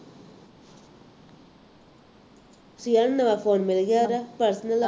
ਸੀਆ ਨੂੰ ਨਵਾਂ ਫੋਨ ਮਿਲ ਗਿਆ ਉਹਦਾ personal